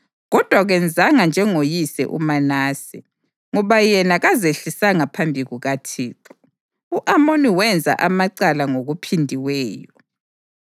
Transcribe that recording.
Kodwa kenzanga njengoyise uManase, ngoba yena kazehlisanga phansi kukaThixo; u-Amoni wenza amacala ngokuphindiweyo.